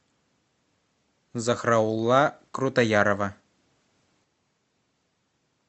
захраулла крутоярова